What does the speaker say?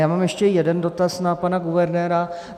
Já mám ještě jeden dotaz na pana guvernéra.